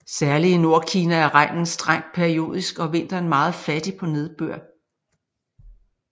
Særlig i Nordkina er regnen strengt periodisk og vinteren meget fattig på nedbør